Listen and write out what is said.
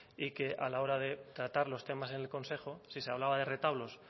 y que a la hora de tratar los temas en el consejo si se hablaba de retablos